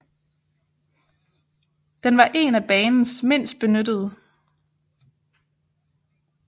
Den var en af banens mindst benyttede